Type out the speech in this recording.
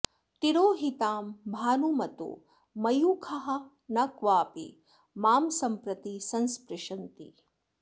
तिरोहितां भानुमतो मयूखाः न क्वापि मां सम्प्रति संस्पृशन्ति